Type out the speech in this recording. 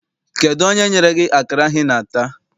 Kedụ onye nyere gị akara ahụ I na-ata?